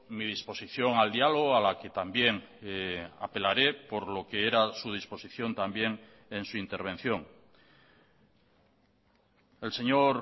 mi disposición al diálogo a la que también apelaré por lo que era su disposición también en su intervención el señor